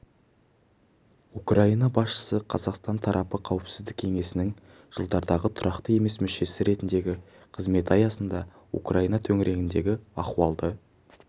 украина басшысы қазақстан тарапы қауіпсіздік кеңесінің жылдардағы тұрақты емес мүшесі ретіндегі қызметі аясында украина төңірегіндегі ахуалды